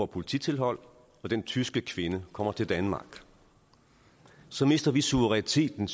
polititilhold og den tyske kvinde kommer til danmark så mister vi suveræniteten